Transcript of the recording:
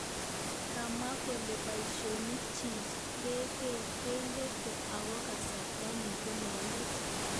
Kamwa kole paishonik chi kegeter ako kasarta ini ko nepo let.